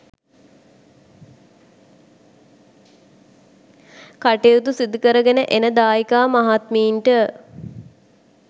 කටයුතු සිදුකරගෙන එන දායිකා මහත්මීන්ට